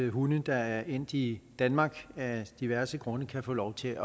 at hunde der er endt i danmark af diverse grunde kan få lov til